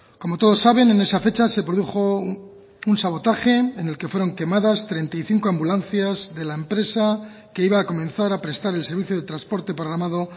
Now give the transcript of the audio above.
como todos saben en esa fecha se produjo un sabotaje en el que fueron quemadas treinta y cinco ambulancias de la empresa que iba a comenzar a prestar el servicio de transporte programado